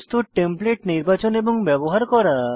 প্রস্তুত টেমপ্লেট নির্বাচন এবং ব্যবহার করা